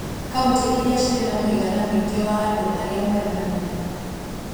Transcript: Kauntĩ iria cirĩ na mũigana mũingĩ wa andũ arĩa marĩ na mũrimũ